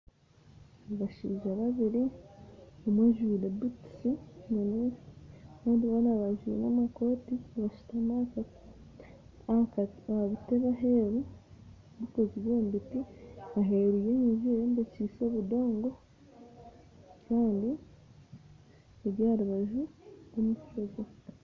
Abashaija babiri omwe anjwire butuusi kandi bombi banjwire amakooti, bashutami aha buteebe aheeru obukozirwe omu biti, babutaire aheeru y'enju ey'ombekyise obudoongo kandi ari aha rubanju rw'omufuregye